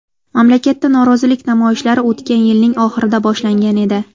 Mamlakatda norozilik namoyishlari o‘tgan yilning oxirida boshlangan edi.